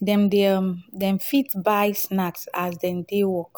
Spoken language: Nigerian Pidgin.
dem um dem fit buy snacks as dem dey work